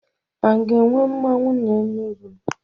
A ga-enwe mmanwu n'Enugwu?